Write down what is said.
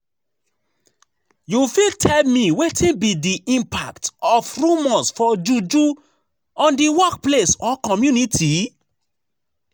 You fit tell me wetin be di impact of rumors for juju on di workplace or community?